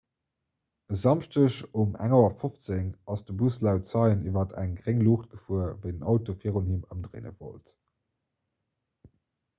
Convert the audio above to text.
e samschdeg um 1.15 auer ass de bus laut zeien iwwer eng gréng luucht gefuer wéi den auto virun him ëmdréine wollt